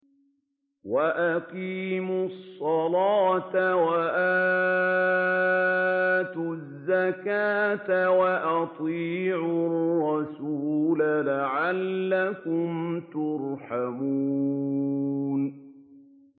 وَأَقِيمُوا الصَّلَاةَ وَآتُوا الزَّكَاةَ وَأَطِيعُوا الرَّسُولَ لَعَلَّكُمْ تُرْحَمُونَ